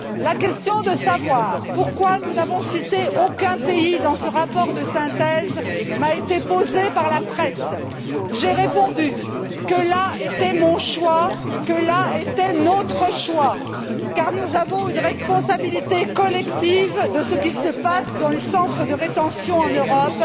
La question de savoir pourquoi nous n'avons cité aucun pays dans ce rapport de synthèse m'a été posée par la presse. J'ai répondu que là était mon choix, que là était notre choix, car nous avons une responsabilité collective à l'égard de ce qui se passe dans les centres de rétention en Europe,